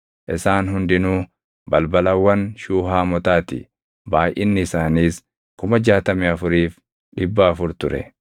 Isaan hundinuu balbalawwan Shuuhaamotaa ti; baayʼinni isaaniis 64,400 ture.